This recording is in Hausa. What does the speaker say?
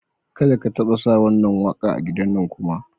Ka da ka taɓa sa wannan waƙa a gidannan kuma.